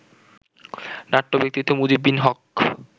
নাট্য ব্যক্তিত্ব মুজিব বিন হক